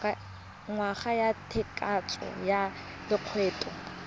ngwaga wa tshekatsheko ya lokgetho